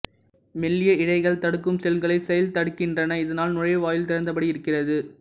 மெல்லிய இழைகள் தடுக்கும் செல்களைச் செயல்தடுக்கின்றன இதனால் நுழைவாயில் திறந்தபடி இருக்கிறது